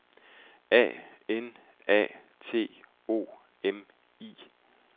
A N A T O M I